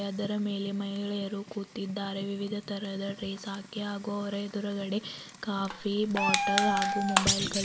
ಅದರ ಮೇಲೆ ಮಹಿಳೆಯರು ಕೂತಿದ್ದಾರೆ ವಿವಿಧ ತರಹದ ಡ್ರೆಸ್ ಹಾಕಿ ಹಾಗು ಅವರ್ ಎದ್ರುಗಡೆ ಕಾಫಿ ಬಾಟಲ್ ಹಾಗೂ ಮೊಬೈಲ್ ಗಳಿ --